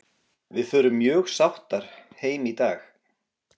Við förum mjög sáttar heim í dag.